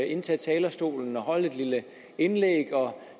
indtage talerstolen og holde et lille indlæg og